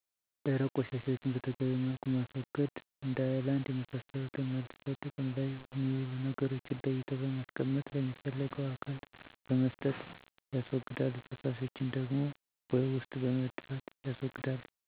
ደረቅ ቆሻሻዎችን በተገቢዉ መልኩ ማስወገድ እንደ አይላንድ የመሳሰሉትን መልሰዉ ጥቅም ላይ የሚዉሉ ነገሮችን ለይተዉ በማስቀመጥ ለሚፈልገዉ አካል በመስጠት ያስወግዳሉ ፈሳሾችን ደግሞ ቦይ ዉስጥ በመድፍት ያስወግዳሉ